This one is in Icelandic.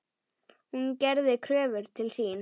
Hún gerði kröfur til sín.